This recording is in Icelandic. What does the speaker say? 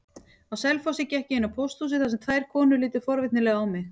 Á Selfossi gekk ég inn á pósthúsið þar sem tvær konur litu forvitnislega á mig.